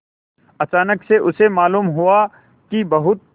अचानक उसे मालूम हुआ कि बहुत